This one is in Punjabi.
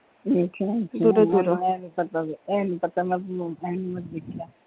ਅੱਛਾ ਇਹ ਨੀ ਪਤਾ .